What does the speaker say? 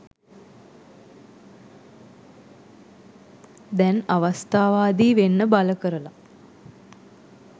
දැන් අවස්ථාවාදී වෙන්න බල කරලා